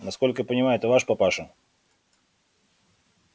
насколько я понимаю это ваш папаша